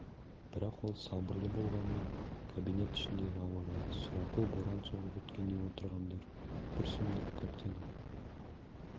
бірақ ол сабырлы болғанмен кабинет ішіндегі ауа райы сұрапыл боран соғып өткендей отырғандар бір сұмдық картина